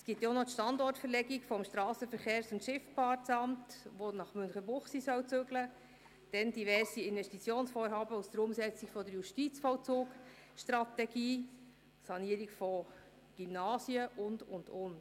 Es gibt auch noch die Verlegung des Strassenverkehrs- und Schifffahrtsamts, das nach Münchenbuchsee umziehen soll, dann diverse Investitionsvorhaben in Zusammenhang mit der Umsetzung der Justizvollzugstrategie, die Sanierung von Gymnasien und, und, und.